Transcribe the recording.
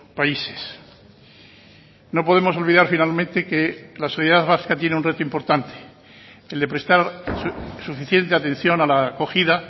países no podemos olvidar finalmente que la sociedad vasca tiene un reto importante el de prestar suficiente atención a la acogida